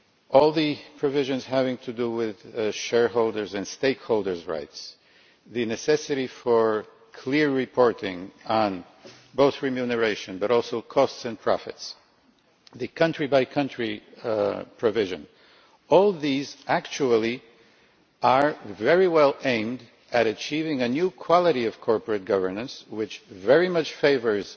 All the provisions having to do with shareholders' and stakeholders' rights, the necessity for clear reporting, both of remuneration and costs and profits, the country by country provision all these are very well aimed at achieving a new quality of corporate governance which very much favours